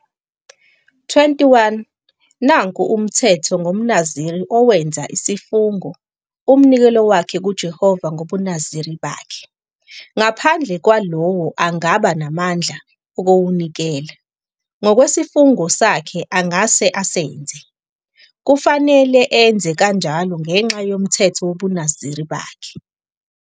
21 "'Nanku umthetho ngomNaziri owenza isifungo-umnikelo wakhe kuJehova ngobuNaziri bakhe, ngaphandle kwalowo angaba namandla okuwunikela. Ngokwesifungo sakhe angase asenze, kufanele enze kanjalo ngenxa yomthetho wobuNaziri bakhe.'"